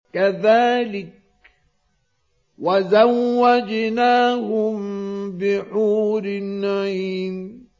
كَذَٰلِكَ وَزَوَّجْنَاهُم بِحُورٍ عِينٍ